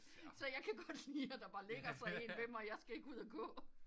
Så jeg kan godt lide der bare ligger jeg en ved mig jeg skal ikke ud og gå